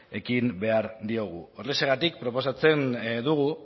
ekin behar diogu horrexegatik proposatzen dugu